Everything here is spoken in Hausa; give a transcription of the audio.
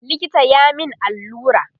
likita ya min allura